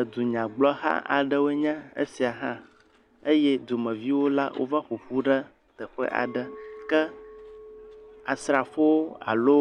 Edunyagblɔha aɖee nye esia hã. Eye dumeviwo la wova ƒo ƒu ɖe teƒe aɖe. Ke Asrafowo alo